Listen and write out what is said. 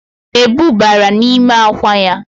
Ebu bara nime akwa ya